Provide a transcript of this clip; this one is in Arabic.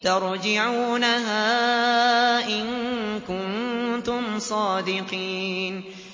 تَرْجِعُونَهَا إِن كُنتُمْ صَادِقِينَ